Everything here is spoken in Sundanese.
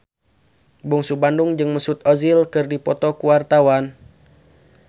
Bungsu Bandung jeung Mesut Ozil keur dipoto ku wartawan